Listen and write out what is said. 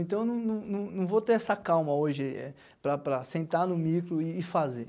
Então, eu não não não não vou ter essa calma hoje para para sentar no micro e fazer.